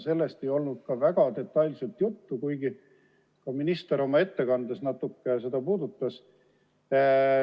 Sellest ei olnud ka väga detailselt juttu, kuigi minister oma ettekandes seda natuke puudutas.